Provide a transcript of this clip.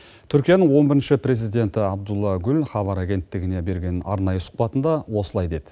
түркияның он бірінші президенті абдуллах гүл хабар агенттігіне берген арнайы сұхбатында осылай деді